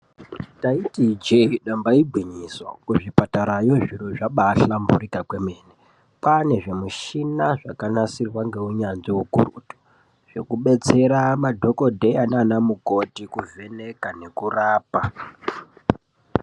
Taitiza ijee damba igwinyiso kuzvipatarayo zviro zvabahlamburika kwemene kwane zvimushina zvakanasirwa ngeunyanzvi ukurutu zvekubetsera madhokodheya nana mukoti kuvheneka nekurapa.